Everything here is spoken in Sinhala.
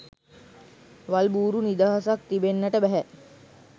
වල් බූරු නිදහසක් තිබෙන්නට බැහැ